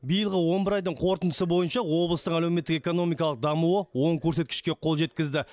биылғы он бір айдың қорытындысы бойынша облыстың әлеуметтік экономикалық дамуы оң көрсеткішке қол жеткізді